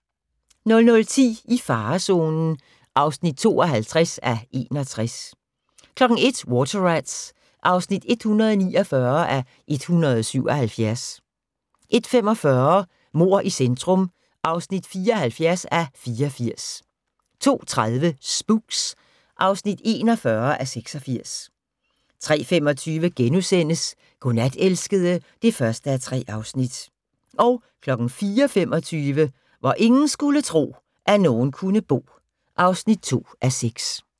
00:10: I farezonen (52:61) 01:00: Water Rats (149:177) 01:45: Mord i centrum (74:84) 02:30: Spooks (41:86) 03:25: Godnat, elskede (1:3)* 04:25: Hvor ingen skulle tro, at nogen kunne bo (2:6)